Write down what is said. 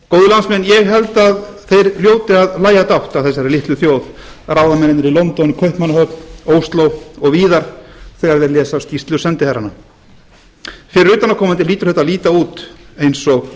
landsmenn ég held að þeir hljóti að hlæja dátt að þessari litlu þjóð ráðamennirnir í london kaupmannahöfn ósló og víðar þegar þeir lesa skýrslur sendiherranna fyrir utanaðkomandi hlýtur þetta að líta út eins og